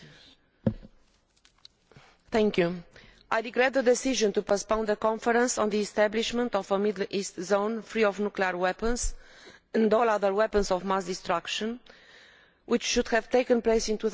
Mr President, I regret the decision to postpone the conference on the establishment of a Middle East zone free of nuclear weapons and all other weapons of mass destruction which should have taken place in